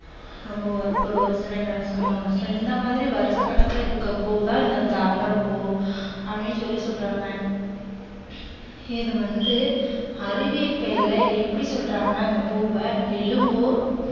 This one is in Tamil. ரொம்ப வருஷம் ஒரு வருஷம் ரெண்டு வருஷமோ மூணு வருஷம் இந்த மாதிரி வருஷ கணக்குல இருக்கிற பூ தான் இந்த தாமரை பூ அப்படின்னு சொல்லி சொல்றாங்க. இது வந்து அறிவியல் பெயர்ல எப்படி சொல்றாங்கன்னா இந்த பூவ Nelumbo